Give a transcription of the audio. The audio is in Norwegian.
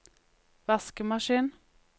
vaskemaskin